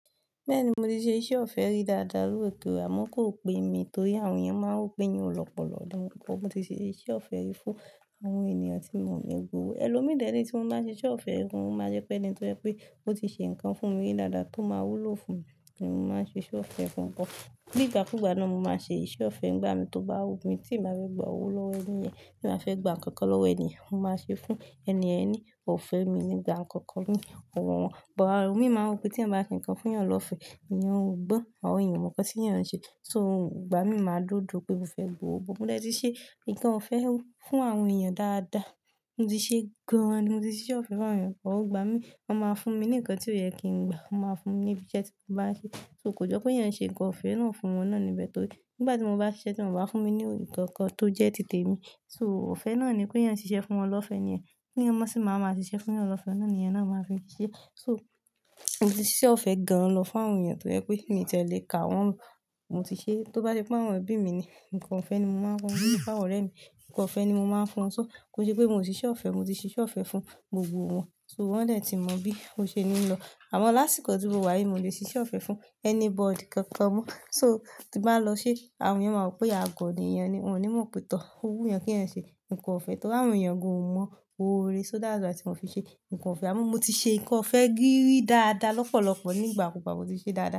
Bẹ́ẹ̀ni, mo ti ṣe iṣẹ́ ọ̀fẹ́ rí dáadáa. Lórí ètò Amoko pe mí torí àwọn èèyàn máa ń rò pé wọn ò lọ́pọ̀lọ́pọ̀. Mo ti ṣe iṣẹ́ ọ̀fẹ́ fún àwọn ènìyàn tí mo lè gbówó. Ẹ̀lòmíràn de re tí mo bá ṣe iṣẹ́ ọ̀fẹ́, o máa jẹ́ pé ẹni tó jẹ pé ó ti ṣe nǹkan fún mi dáadáa tó máa wúlò fún mi ni mo máa ń ṣe iṣẹ́ ọ̀fẹ́ fún wọn. Ní ìgbàkúùgbà náà mo máa ń ṣe iṣẹ́ ọ̀fẹ́ ń gbá mi tó bá wù mí, tí n bá fe gbà owó lọ́wọ́ ẹniyẹn, tí n bá fẹ́ gba ǹkankan lọ́wọ́ ènìyàn, mo máa ṣe fún ẹniyẹn ni, ò fẹ́ mi n ní gba ǹkan kan ní ọ̀wọ̀ wọn. Ìbọ̀ àwọn mi máa ń rò pé tí èèyàn bá ṣe nǹkan fún eeyan lọ́fẹ́, èèyàn ó gbọ́n àwọn èèèyàn o mọ̀ nkan t eeyan ń ṣe. So, ìgbà mí máa duó n duó pé mo fẹ́ gbowó. Mo de ti ṣe nǹkan ọ̀fẹ́ fún àwọn èèyàn dáadáa. Mo ti ṣe gan-an ni mo ti ṣe iṣẹ́ ọ̀fẹ́ fún àwọn èèyàn pẹ̀lú ìgbà mí, wọ́n máa fún mi ní nǹkan tí ó yẹ kí n gba. Wọ́n máa fún ní ibi iṣẹ́ tí mo bá ṣe, so kò jọ pé èèyàn ń ṣe nǹkan ọ̀fẹ́ náà fún wọn náà but torí nígbà tí mo bá ṣiṣẹ́, tí wọ́n ò bá fún mi ní nǹkan kan tó jẹ́ ti tèmi So, ọ̀fẹ́ náà ni péèyàn ṣiṣẹ́ fún wọn lọ́fẹ̀ẹ́ nìyẹn, kéèyàn má sì máa wá máa ṣiṣẹ́ fún'yàn lọ́fẹ̀ẹ́, òun náà ni èèyàn náà máa fi ń ṣeé. So, mo ti ṣiṣẹ́ ọ̀fẹ́ gan-an lọ fún àwọn èèyàn tó jẹ́ pé miì tiẹ̀ lè kà wọ́n. Mo ti ṣeé, tó bá jẹ́ pé àwọn ẹbí mi ni, nǹkan ọ̀fẹ́ ni mo máa ń fún wọn. Bí i fún àwọn ọ̀rẹ́ mi, nǹkan ọ̀fẹ́ ni mo máa ń fún wọn. So, kò ń ṣe pé moò ṣ'iṣẹ́ ọ̀fẹ́, mo ti ṣe iṣẹ́ ọ̀fẹ́ fún gbogbo wọn. So, wọ́n dẹ̀ ti mọ bí ó ṣe ní lọ. Àmọ lásìkò tí mo wà yìí, moò lè ṣe iṣẹ́ ọ̀fẹ́ fún anybody kankan mọ. So, tí n bá lọ ṣeé, àwọn èèyàn máa rò pé àgọ̀ ni èèyàn ni, wọ́n ò ní mọ̀ pé tọ̀ọ̀ ó wú èèyàn kéèyàn ṣe nǹkan ọ̀fẹ́ torí àwọn èèyàn gan-an mọ oore So, that's why ti moò fi ṣe nǹkan ọ̀fẹ́. Àmọ mo ti ṣe nǹkan ọ̀fẹ́ gírí dáadáa lọ́pọ̀lọpọ̀ ní ìgbà kúùgbà mo ti ṣeé dáadáa.